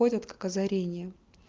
ходят как озарение